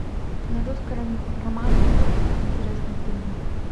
на русском романе идет интересный фильм